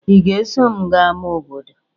Ị ga-eso m gaa ámá obodo?